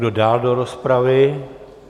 Kdo dál do rozpravy?